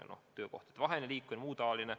On ka ju töökohtadevaheline liikumine jms.